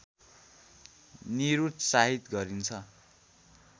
निरुत्साहित गरिन्छ